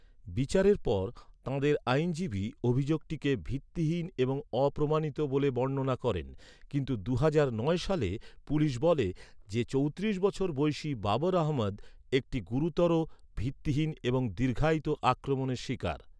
বিচারের পর তাঁদের আইনজীবী অভিযোগটিকে "ভিত্তিহীন এবং অপ্রমাণিত" বলে বর্ণনা করেন। কিন্তু দুহাজার নয় সালে পুলিশ বলে যে, চৌত্রিশ বছর বয়সি বাবর আহমেদ "একটি গুরুতর, ভিত্তিহীন এবং দীর্ঘায়িত" আক্রমণের শিকার।